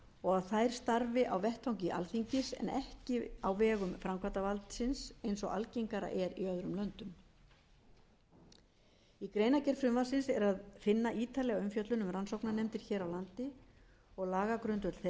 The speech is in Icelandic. og að þær starfi á vettvangi alþingis en ekki á vegum framkvæmdarvaldsins eins og algengara er í öðrum löndum í greinargerð frumvarpsins er að finna ítarleg umfjöllun um rannsóknarnefndir hér á landi og lagagrundvöll þeirra þar sem þeim hefur